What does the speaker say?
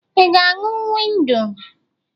Ị ga-aṅụ wịnụ?